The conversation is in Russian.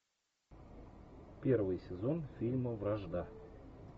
первый сезон фильма вражда